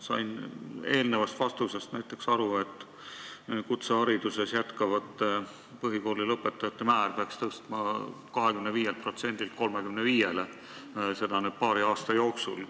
Sain eelnevast vastusest näiteks aru, et kutsehariduses jätkavate põhikooli lõpetanute määra peaks tõstma 25%-lt 35%-le, seda paari aasta jooksul.